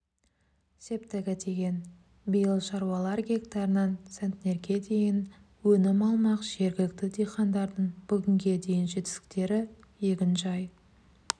септігі тиген биыл шаруалар гектарынан центнерге дейін өнім алмақ жергілікті диқандардың бүгінге дейінгі жетістіктері егінжай